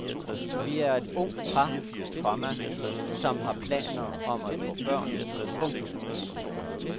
Vi er et ungt par, komma som har planer om at få børn. punktum